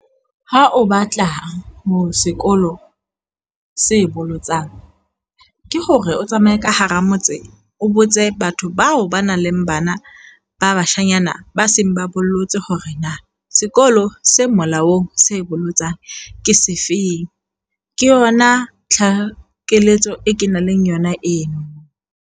Ha o batla ho sekolo se bolotsang ke hore o tsamaye ka hara motse, o botse batho bao ba nang le bana ba bashanyana ba seng ba bollotse hore na sekolo se molaong se bolotsang ke se feng. Ke yona tlhakisetso keletso eo kenang le yona eno.